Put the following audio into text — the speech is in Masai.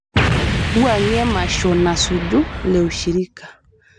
wuangie emasho nasuju le ushirika